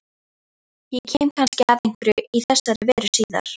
Ég kem kannski að einhverju í þessa veru síðar.